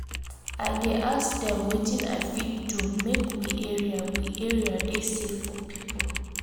I dey ask dem wetin I fit do make we area we area dey safe for pipo.